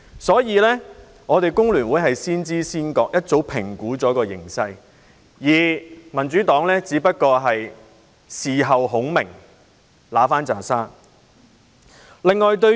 所以，工聯會先知先覺，早已對形勢作出評估，而民主黨只不過是事後孔明，想取回一堆沙。